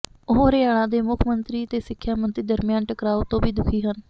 ਉਹ ਹਰਿਆਣਾ ਦੇ ਮੁੱਖ ਮੰਤਰੀ ਤੇ ਸਿੱਖਿਆ ਮੰਤਰੀ ਦਰਮਿਆਨ ਟਕਰਾਓ ਤੋਂ ਵੀ ਦੁਖੀ ਹਨ